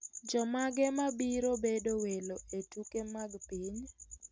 Jomage mabiro bedo welo e tuke mag piny?